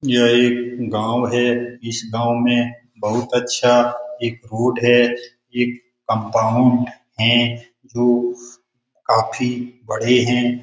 यह एक गाँव हैं इस गाँव में बहुत अच्छा एक रोड है एक कंपाउंड है जो काफ़ी बड़े हैं ।